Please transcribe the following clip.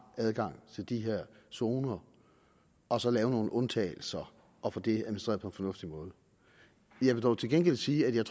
adgang til de her zoner og så lave nogle undtagelser og få det administreret på en fornuftig måde jeg vil dog til gengæld sige at jeg